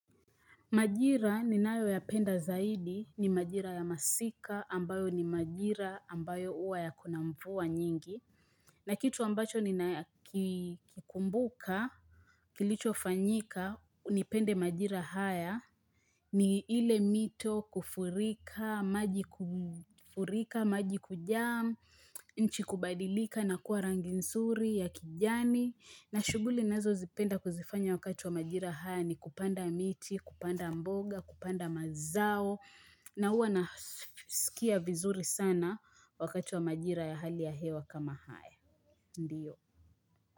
Majira ninayo yapenda zaidi, ni majira ya masika, ambayo ni majira ambayo huwa yako na mvua nyingi. Na kitu ambacho nina kikumbuka, kilicho fanyika, nipende majira haya, ni ile mito kufurika, maji kufurika, maji kujam, nchi kubadilika na kuwa rangi nsuri ya kijani. Na shughuli ninazo zipenda kuzifanya wakati wa majira haya ni kupanda miti, kupanda mboga, kupanda mazao. Na huwa nasikia vizuri sana wakati wa majira ya hali ya hewa kama haya. Ndio.